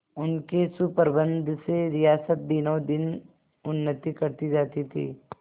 उनके सुप्रबंध से रियासत दिनोंदिन उन्नति करती जाती थी